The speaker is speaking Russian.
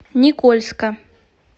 никольска